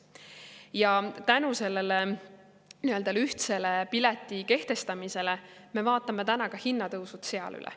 Ja tänu sellele ühtse pileti kehtestamisele me vaatame täna hinnatõusud ka seal üle.